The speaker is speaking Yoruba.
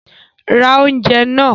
Ra oúnjẹ náà!